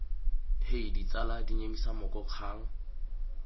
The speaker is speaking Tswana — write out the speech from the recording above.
hei tsala dinyemisa moko kgang